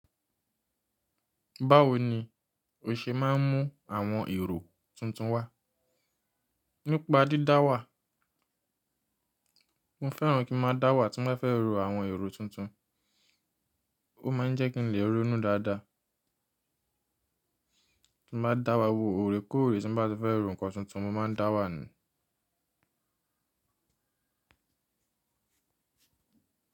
Báwo ni o ṣe máa ń mú àwọn èrò tuntun wá? Nípa dídáwà. Mo fẹ́ràn kí n máa dáwà tí n ba fẹ́ ro àwọn èrò tuntun. Ó máa ń jẹ́ kí n lè ronú dáadáa. Tí mo bá dáwà wo oreko ore tí bá ti fẹ́ ro nǹkan tuntun, mo máa ń dáwà ni.